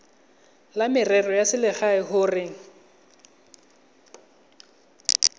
la merero ya selegae gore